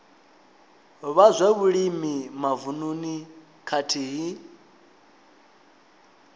vha zwa vhulimi mavununi khathihi